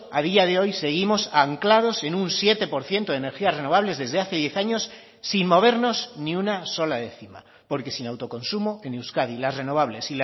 a día de hoy seguimos anclados en un siete por ciento de energías renovables desde hace diez años sin movernos ni una sola décima porque sin autoconsumo en euskadi las renovables